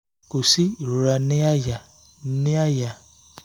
kò sí ìrora ní àyà ní àyà